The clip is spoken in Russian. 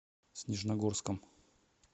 снежногорском